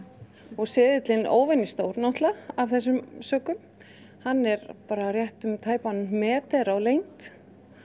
og seðillinn náttúrulega af þessum sökum hann er rétt um tæpan metra á lengd